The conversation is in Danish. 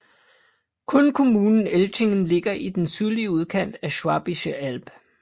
Kun kommunen Elchingen ligger i den sydlige udkant af Schwäbische Alb